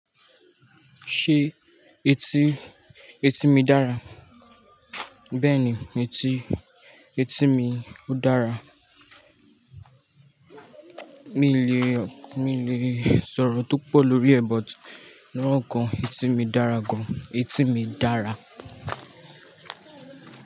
Ṣé etí, etí mi dára? Bẹ́ẹ̀ni, etí, etí mi ó dára. Mi le, mi le sọ̀rọ̀ tó pọ̀ lórí ẹ̀, but ní ọ̀kan, etí mi dára gan. Etí mi dára.